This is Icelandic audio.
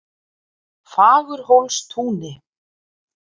Fagurhólstúni